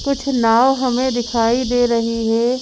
कुछ नाव हमें दिखाई दे रही है।